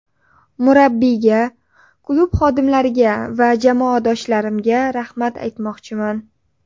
Murabbiyga, klub xodimlariga va jamoadoshlarimga rahmat aytmoqchiman.